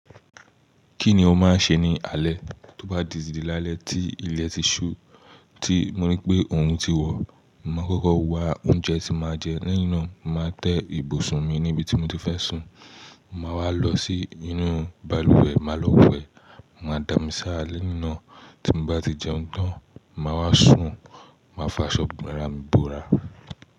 Kí ni o máa ń ṣe ní alẹ́, tó bá dìsìdí lále tí ilẹ̀ ti ṣú, tí mo rí pé òhún ti wọ̀, màá kókó wa oúnjẹ tí màá jẹ́ lénà, màá tẹ́ ibùsùn mi níbi tí mo ti fẹ́ sùn, màá wá lọ sí inú balùwẹ̀, màá lọ wẹ̀, màá dà mí sá rà lénà, tí mo bá ti jẹun tán, màá wá sùn, màá fa aṣọ ìbora bọ̀rá.